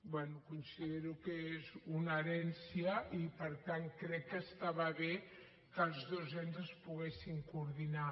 bé considero que és una herència i per tant crec que estava bé que els dos ens es poguessin coordinar